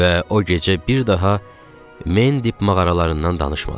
Və o gecə bir daha Mendip mağaralarından danışmadıq.